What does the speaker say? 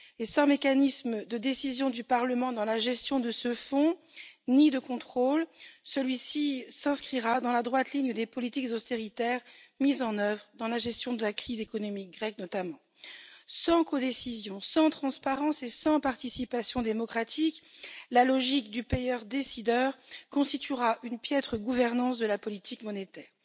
Sans mécanisme de décision du Parlement dans la gestion de ce Fonds, ni mécanisme de contrôle, celui ci s'inscrira dans la droite ligne des politiques d'austérité mises notamment en œuvre dans la gestion de la crise économique grecque. Sans codécision, sans transparence et sans participation démocratique, la logique du payeur décideur constituera une piètre gouvernance de la politique monétaire